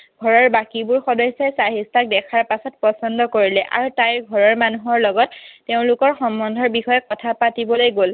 ঘৰৰ বাকীবোৰ সদস্যই চাহিষ্ঠাক দেখাৰ পাছত পছন্দ কৰিলে। আৰু তাইৰ ঘৰৰ মানুহৰ লগত তেওঁলোকৰ সম্বন্ধৰ বিষয়ে কথা পাতিবলৈ গ'ল।